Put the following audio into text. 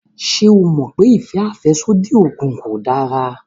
Ṣé o mọ̀ pé ìfẹ́ àfẹ́sódì oògùn kò dára?